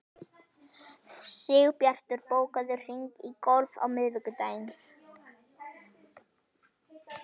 Sigbjartur, bókaðu hring í golf á miðvikudaginn.